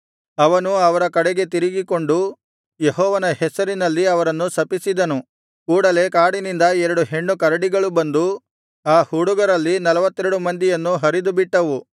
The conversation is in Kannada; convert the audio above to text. ಅವನು ಅವರ ಕಡೆಗೆ ತಿರುಗಿಕೊಂಡು ಯೆಹೋವನ ಹೆಸರಿನಲ್ಲಿ ಅವರನ್ನು ಶಪಿಸಿದನು ಕೂಡಲೆ ಕಾಡಿನಿಂದ ಎರಡು ಹೆಣ್ಣು ಕರಡಿಗಳು ಬಂದು ಆ ಹುಡುಗರಲ್ಲಿ ನಲ್ವತ್ತೆರಡು ಮಂದಿಯನ್ನು ಹರಿದುಬಿಟ್ಟವು